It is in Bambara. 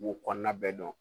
Wokɔnɔna bɛɛ dɔn